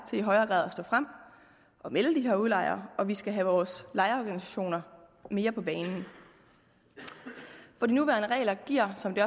til i højere grad at stå frem og melde de her udlejere og vi skal have vores lejerorganisationer mere på banen for de nuværende regler giver som det